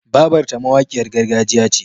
Babarta mawakiyar gargajiya ce.